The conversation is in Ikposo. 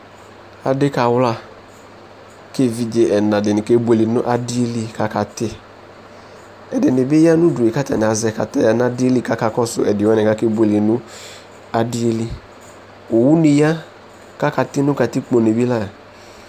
ɑɖikɑwlɑ ɛviɗzɛ ɛɲɑɗi ɑkɛbuɛlɛ kɑkɑti ɛɗinibi yɑɲuɗuɛ kɑtɑniɑzɛ ƙɑtɑyɑ ɲɑɗiɛli kɑkɑkɔsu ɛɗiwɑni kɛbωɛlɛ ɲɑɗili õwωɲiyɑ kɑkɑti nukɑtikpo ɲibila